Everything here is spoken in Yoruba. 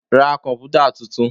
Ra komputa tuntun.